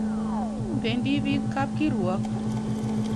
Pendi piik kapkirwok.